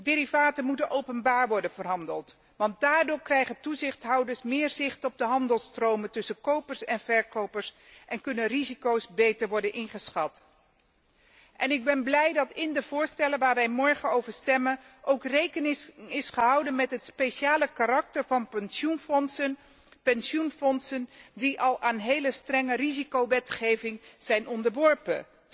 Derivaten moeten openbaar worden verhandeld, want daardoor krijgen toezichthouders meer zicht op de handelsstromen tussen kopers en verkopers en kunnen risico's beter worden ingeschat. Ik ben blij dat in de voorstellen waarover wij morgen stemmen ook rekening is gehouden met het speciale karakter van pensioenfondsen, die al aan een hele strenge risicowetgeving zijn onderworpen.